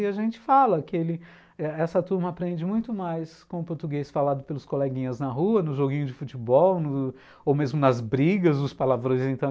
E a gente fala que ele, essa turma aprende muito mais com o português falado pelos coleguinhas na rua, no joguinho de futebol, no, ou mesmo nas brigas, os palavrões e